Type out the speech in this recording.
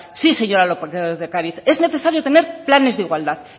sí señora lópez de ocariz es necesario tener planes de igualdad